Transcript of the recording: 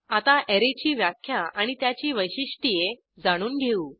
आता अॅरेची व्याख्या आणि त्याची वैशिष्ट्ये जाणून घेऊ